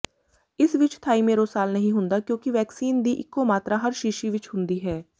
ਇਸ ਵਿੱਚ ਥਾਈਮੇਰੋਸਾਲ ਨਹੀਂ ਹੁੰਦਾ ਕਿਉਂਕਿ ਵੈਕਸੀਨ ਦੀ ਇਕੋ ਮਾਤਰਾ ਹਰ ਸ਼ੀਸ਼ੀ ਵਿੱਚ ਹੁੰਦੀ ਹੈ